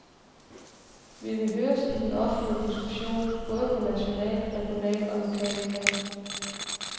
Vi vil høres i den offentlige diskussion, både på nationalt, regionalt og lokalt plan.